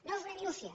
no és una minúcia